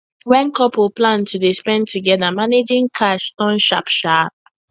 when couple plan to dey spend together managing cash turn sharp sharp